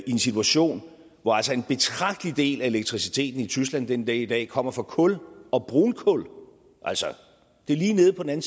en situation hvor en betragtelig del af elektriciteten i tyskland den dag i dag kommer fra kul og brunkul altså lige nede på den